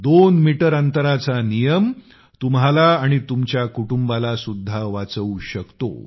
दोन मीटर अंतराचा नियम तुम्हाला आणि तुमच्या कुटुंबालासुद्धा वाचवू शकतो